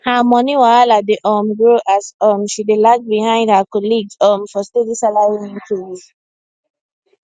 her money wahala dey um grow as um she dey lag behind her colleagues um for steady salary increase